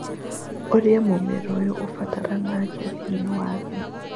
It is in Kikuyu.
Ũrĩa Mũmera ũyũ Ũbataranagia Thĩinĩ wa Thĩ